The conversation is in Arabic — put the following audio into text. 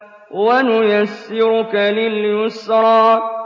وَنُيَسِّرُكَ لِلْيُسْرَىٰ